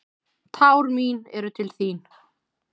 Tár mín eru til þín.